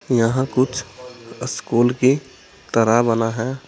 यहां कुछ स्कूल की तरह बना है।